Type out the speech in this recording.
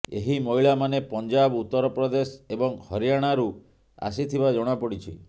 ଏହି ମହିଳାମାନେ ପଞ୍ଜାବ ଉତ୍ତର ପ୍ରଦେଶ ଏବଂ ହରିୟାଣାରୁ ଆସିଥିବା ଜଣାପଡିଛି